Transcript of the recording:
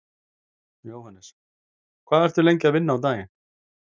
Jóhannes: Hvað ertu að vinna lengi á daginn?